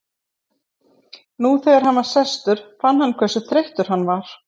Nú þegar hann var sestur fann hann hversu þreyttur hann var.